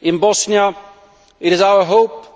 In Bosnia, it is our hope